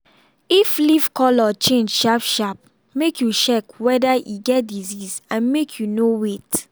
if leaf colour change sharp sharp make you check wether e get disease and make you no wait.